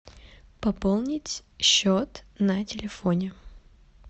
пополнить счет на телефоне